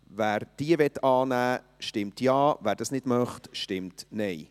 Wer diese annehmen möchte, stimmt Ja, wer dies nicht möchte, stimmt Nein.